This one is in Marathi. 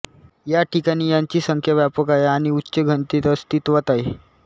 ह्या ठिकाणी यांची संख्या व्यापक आहे आणि उच्च घनतेत अस्तित्वात आहे